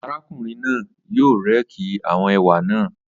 Arákùnrin náà yóò réèkì àwọn ewé naa